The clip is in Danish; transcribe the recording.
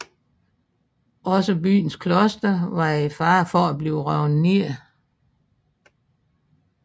Også byens kloster var i fare for at blive revet ned